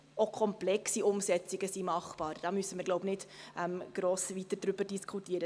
Auch komplexe Umsetzungen sind machbar – darüber müssen wir nicht gross weiter diskutieren.